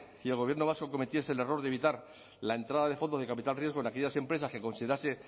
y el gobierno vasco cometiese el error de evitar la entrada de fondos de capital riesgo en aquellas empresas que considerase